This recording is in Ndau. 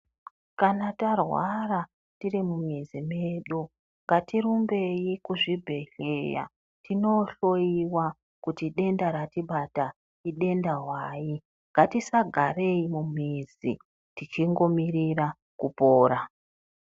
Kana tarwara tiri mumizi mwedu ngatirumbei kuzvibhedhleya tinohloyiwa kuti denda ratibata idenda hwai. Ngatisagarei mumizi tichingomirira kupora.